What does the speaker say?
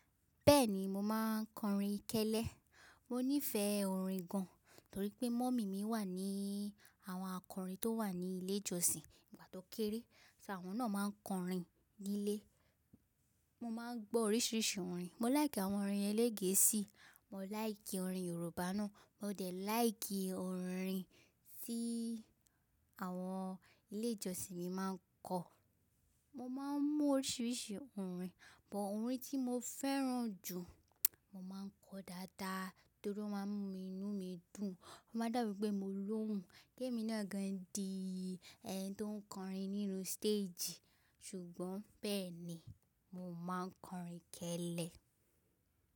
Bẹ́ẹ̀ni mo máa ń kọrin kẹ́lẹ́. Mo nífẹ̀ẹ́ orin gan, torí pé mummy mi wà ní àwọn akọrin tó wà ní ilé-ìjọsìn nígbà tó kéré, ṣo awọn náà máa ń kọrin nílé. Mo máa ń gbọ́ oríṣiríṣi orin. Mo láìkí àwọn orin ẹlẹ́gẹ̀ẹ́sì, mo láì kí orin Yorùbá náà, mo dẹ̀ láì kí orin tí àwọn ilé-ìjọsìn mi máa ń kọ. Mo máa ń mú oríṣiríṣi orin, but orin tí mo fẹ́ràn jù, mo máa ń kọ dáadáa torí ó máa ń mú inú mi dùn, ó máa dàbí pé mo lóhùn. Gẹ́ mí náà gan di ẹni tó ń kọrin nínú stage, ṣùgbọ́n bẹ́ẹ̀ ni mo máa ń kọrin kẹ́lẹ́